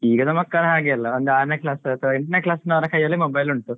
ಈಗಿನ ಮಕ್ಕಳು ಹಾಗೆ ಇಲ್ಲ ಒಂದು ಆರನೇ class ಅಥವಾ ಎಂಟನೇ class ಅವರ ಕೈಯಲ್ಲಿ mobile ಉಂಟು.